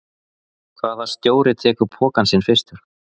Hvaða stjóri tekur pokann sinn fyrstur?